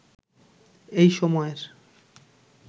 এই সময়ের